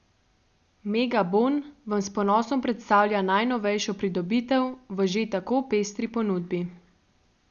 Megabon vam s ponosom predstavlja najnovejšo pridobitev v že tako pestri ponudbi!